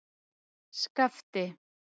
Skafti